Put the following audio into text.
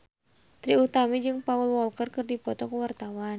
Trie Utami jeung Paul Walker keur dipoto ku wartawan